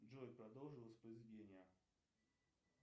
джой продолжи воспроизведение